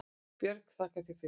Björg: Þakka þér fyrir